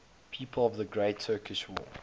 people of the great turkish war